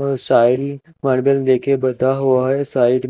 side